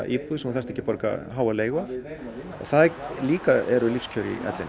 íbúð sem þú þarft ekki að borga háa leigu af og það líka eru lífskjör í ellinni